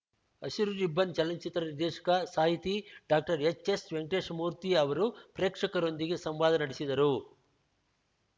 ಹಸಿರು ರಿಬ್ಬನ್‌ ಚಲನಚಿತ್ರದ ನಿರ್ದೇಶಕ ಸಾಹಿತಿ ಡಾಕ್ಟರ್ಎಚ್‌ಎಸ್‌ವೆಂಕಟೇಶ ಮೂರ್ತಿ ಅವರು ಪ್ರೇಕ್ಷಕರೊಂದಿಗೆ ಸಂವಾದ ನಡೆಸಿದರು